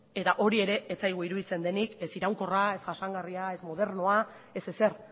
eta hori ere ez zaigu iruditzen denik ez iraunkorra ez jasangarria ez modernoa ez ezer